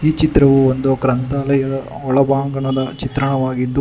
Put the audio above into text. ಚಿತ್ರವು ಒಂದು ಗ್ರಂಥಾಲಯದ ಒಳ ಬಾಂಗಣದ ಚಿತ್ರಣವಾಗಿದ್ದು--